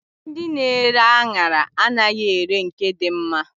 Ndị na-ere aṅara anaghị ere nke dị mma.